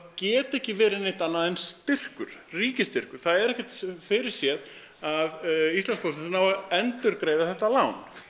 geta ekki verið neitt annað en styrkur ríkisstyrkur það er ekkert fyrirséð að Íslandspóstur nái að endurgreiða þetta lán